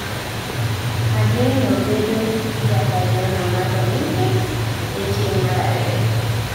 Ageno bedo jakanyono mar Olympics ee tieng' mar ariyo